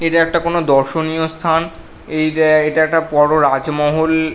এটা একটা কোন দর্শনীয় স্থান এ-এটা একটা বড় রাজমহল--